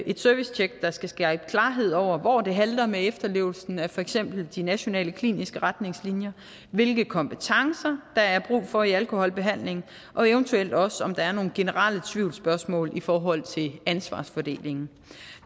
et servicetjek der skal skabe klarhed over hvor det halter med efterlevelsen af for eksempel de nationale kliniske retningslinjer hvilke kompetencer der er brug for i alkoholbehandlingen og eventuelt også om der er nogle generelle tvivlsspørgsmål i forhold til ansvarsfordelingen